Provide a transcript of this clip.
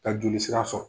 Ka joli sira sɔrɔ